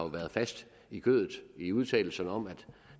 været fast i kødet i udtalelserne om at